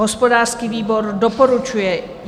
Hospodářský výbor doporučuje.